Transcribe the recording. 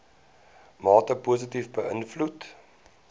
mate positief beïnvloed